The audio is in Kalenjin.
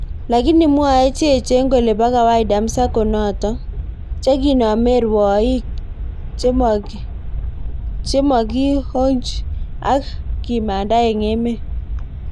Lakini mwoe cheechen kole po kawaida msako notok, chekinomei rwoik chemokihonjk ak kimanda eng emeet